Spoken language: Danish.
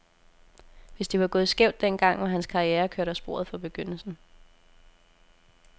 Hvis det var gået skævt den gang, var hans karriere kørt af sporet fra begyndelsen.